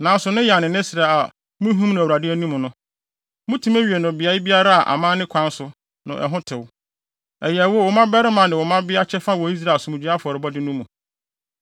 Nanso ne yan ne ne srɛ a muhim no Awurade anim no, mutumi we no beae biara a amanne kwan so no ɛhɔ tew. Ɛyɛ wo, wo mmabarima ne wo mmabea kyɛfa wɔ Israelfo Asomdwoe afɔrebɔde no mu.